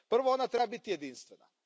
Prvo, ona treba biti jedinstvena.